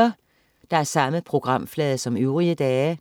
Samme programflade som øvrige dage